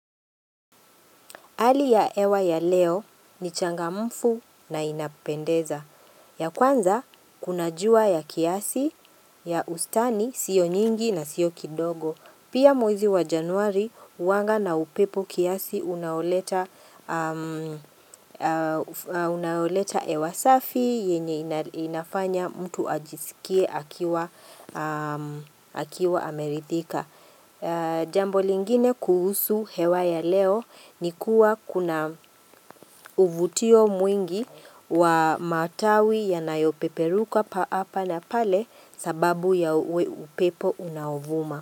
Hali ya hewa ya leo ni changamfu na inapendeza. Ya kwanza, kuna jua ya kiasi, ya ustani, sio nyingi na sio kidogo. Pia mwezi wa januari, huanga na upepo kiasi unaoleta unaoleta hewa safi, yenye inafanya mtu ajisikie akiwa ameridhika. Jambo lingine kuhusu hewa ya leo ni kuwa kuna uvutio mwingi wa matawi yanayo peperuka haapa na pale sababu ya upepo unaovuma.